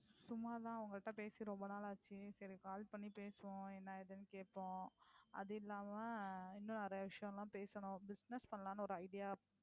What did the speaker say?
சும்மா தான் உங்கள்ட்ட பேசி ரொம்ப நாள் ஆச்சு, சரி call பண்ணி பேசுவோம். என்ன ஏதுன்னு கேப்போம். அதில்லாம இன்னும் நிறயை விஷயம் எல்லாம் பேசணும் Business பண்ணலாம்னு ஒரு idea